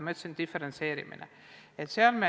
Ma rääkisin diferentseerimisest.